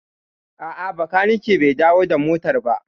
A'a, bakaniken bai dawo da motar ba